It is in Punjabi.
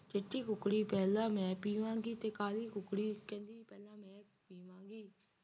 ਚਿੱਟੀ ਕੁਕੜੀ ਪਹਿਲਾਂ ਮੈਂ ਪੀਵਾਂ ਗੀ ਤਾਂ ਤੇ ਕਾਲੀ ਕੁਕੜੀ ਕਹਿੰਦੀ ਪਹਿਲਾਂ ਮੈਂ ਪੀਵਾਂ ਗੀ